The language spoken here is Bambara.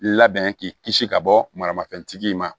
Labɛn k'i kisi ka bɔ maramafɛn tigi in ma